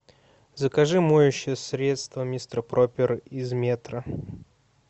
закажи моющее средство мистер проппер из метро